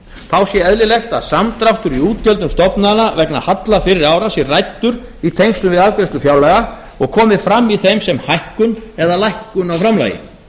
þá sé eðlilegt að samdráttur í útgjöldum stofnana vegna halla fyrri ára sé ræddur í tengslum við afgreiðslu fjárlaga og komi fram í þeim sem hækkun eða lækkun á framlagi